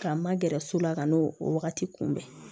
K'an ma gɛrɛ so la ka n'o o wagati kunbɛn